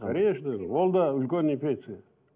ол да үлкен инфекция